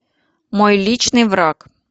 мой личный враг